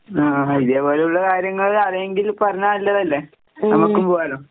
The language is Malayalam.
ആഹാ ഇതേപോലെയുള്ള കാര്യങ്ങള് ആരെങ്കിലും പറഞ്ഞാ നല്ലതല്ലേ? നമുക്കും പോവാല്ലോ?